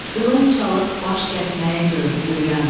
Qılınc çalıb baş kəsməyi gör öyrən.